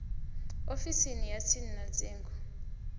ofisini ya tsini ya dzingu